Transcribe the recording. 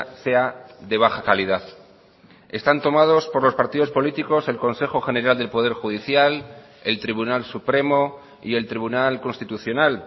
sea de baja calidad están tomados por los partidos políticos el consejo general del poder judicial el tribunal supremo y el tribunal constitucional